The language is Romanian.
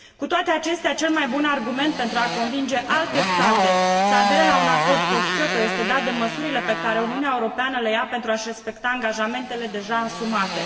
Cu toate acestea cel mai bun argument pentru a convinge alte state să adere la un acord post Kyoto este dat de măsurile pe care Uniunea Europeană le ia pentru a și respecta angajamentele deja asumate.